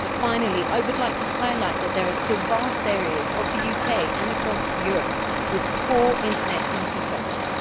Finally I would like to highlight the fact that there are still vast areas of the UK and across Europe with poor Internet infrastructures.